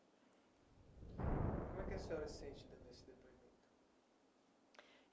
Como é que a senhora se sente dando esse depoimento?